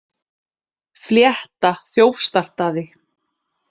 Flétta þjófstartaði